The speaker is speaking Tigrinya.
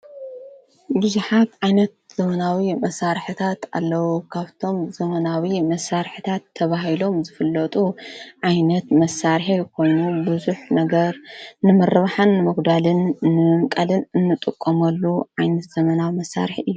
ብዙሓት ዓይነት ዘዉናዊ መሣርሕታት ኣለዉ ካብቶም ዘመናዊ መሣርሕታት ተብሂሎም ዘፍለጡ ዓይነት መሣርሐ ይኮኑ ብዙኅ ነገር ንምርባኃን መጕዳልን ንምቃልን እንጡቖመሉ ዓይነት ዘመና መሣርሕ እዩ።